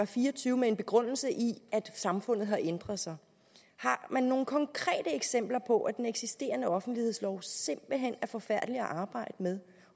fire og tyve med begrundelse i at samfundet ændrer sig har man nogle konkrete eksempler på at den eksisterende offentlighedslov simpelt hen er forfærdelig at arbejde med